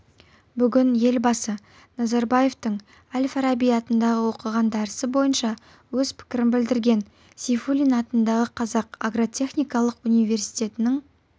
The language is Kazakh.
бүгін елбасы назарбаевтың әл-фараби атындағы оқыған дәрісі бойынша өз пікірін білдірген сейфуллин атындағы қазақ агротехникалық университетінің